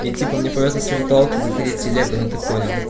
и типа мне повезло с виртуалки заходить в телегу ну ты понял